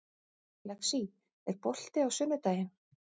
Lexí, er bolti á sunnudaginn?